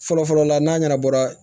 Fɔlɔfɔlɔ la n'a ɲɛnabɔra